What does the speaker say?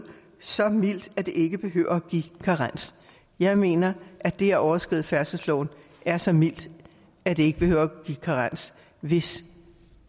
så mildt at det ikke behøver at give karens jeg mener at det at overskride færdselsloven er så mildt at det ikke behøver at give karens hvis